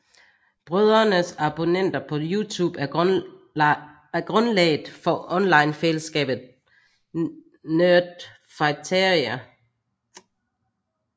Brødrenes abonnenter på YouTube er grundlaget for onlinefællesskabet Nerdfighteria